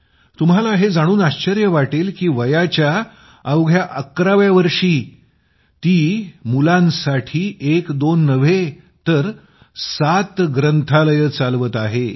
तुम्हाला हे जाणून आश्चर्य वाटेल की वयाच्या अवघ्या 11 व्या वर्षी ती मुलांसाठी एक दोन नव्हे तर सात ग्रंथालये चालवत आहे